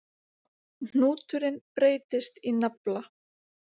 Hnúturinn breytist í nafla.